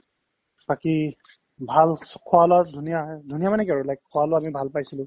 বাকি ভাল চ খোৱা-লোৱাত ধুনীয়া এ ধুনীয়া মানে কি আৰু like খোৱা-বোৱাত ভাল পাইছিলো